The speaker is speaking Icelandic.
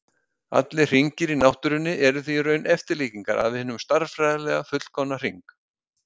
Allir hringir í náttúrunni eru því í raun eftirlíkingar af hinum stærðfræðilega fullkomna hring.